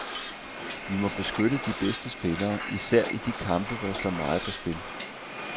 Vi må beskytte de bedste spillere, især i de kampe, hvor der står meget på spil.